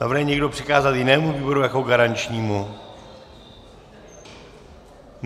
Navrhuje někdo přikázat jinému výboru jako garančnímu?